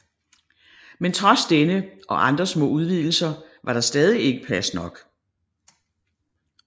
Men trods denne og andre små udvidelser var der stadig ikke plads nok